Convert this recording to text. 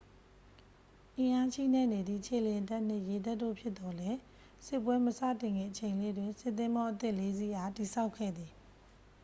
အင်းအာချိနဲ့နေသည့် ခြေလျင်တပ်နှင့် ရေတပ်တို့ ဖြစ်သော်လည်း စစ်ပွဲမစတင်ခင်အချိန်လေးတွင် စစ်သင်္ဘောအသစ် 4 စီးအား တည်ဆောက်ခဲ့သည်